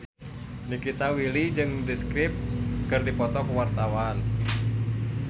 Nikita Willy jeung The Script keur dipoto ku wartawan